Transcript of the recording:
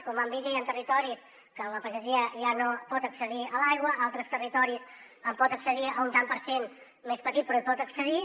com han vist ja hi han territoris en què la pagesia ja no pot accedir a l’aigua en altres territoris pot accedir a un tant per cent més petit però hi pot accedir